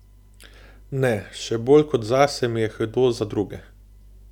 Ne, še bolj kot zase mi je hudo za druge.